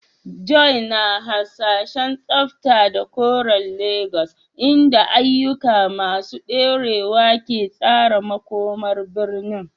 Joy na hasashen tsafta da koren Legas, inda ayyuka masu dorewa ke tsara makomar birnin.